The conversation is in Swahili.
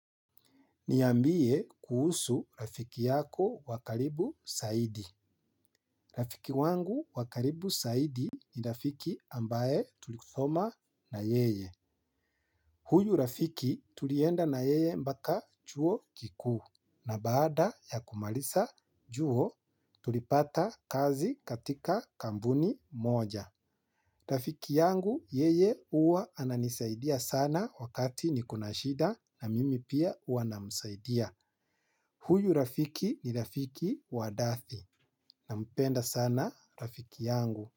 Niambie kuhusu rafiki yako wa karibu zaidi. Rafiki wangu wa karibu zaidi ni rafiki ambaye tulisoma na yeye. Huyu rafiki tulienda na yeye mpaka chuo kikuu. Na baada ya kumaliza chuo tulipata kazi katika kampuni moja. Rafiki yangu yeye huwa ananisaidia sana wakati niko na shida na mimi pia huwa namsaidia. Huyu rafiki ni rafiki wa dhati. Nampenda sana rafiki yangu.